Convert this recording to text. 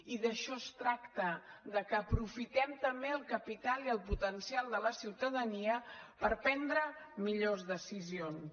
i d’això es tracta que aprofitem també el capital i el potencial de la ciutadania per prendre millors decisions